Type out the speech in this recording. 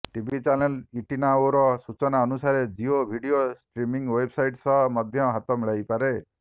TV channel ଇଟିନାଓର ସୂଚନା ଅନୁସାରେ ଜିଓ ଭିଡିଓ ଷ୍ଟ୍ରିମିଙ୍ଗ ୱେବସାଇଟ ସହ ମଧ୍ୟ ହାତ ମିଳାଇପାରେ